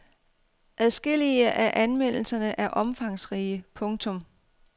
Adskillige af anmeldelserne er omfangsrige. punktum